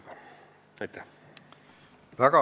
Avan läbirääkimised.